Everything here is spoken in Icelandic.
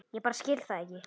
Ég bara skil það ekki.